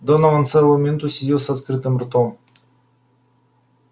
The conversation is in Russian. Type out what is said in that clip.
донован целую минуту сидел с открытым ртом